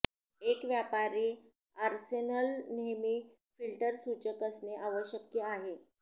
एक व्यापारी आर्सेनल नेहमी फिल्टर सूचक असणे आवश्यक आहे